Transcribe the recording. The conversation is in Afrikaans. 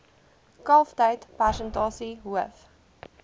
kalftyd persentasie hoof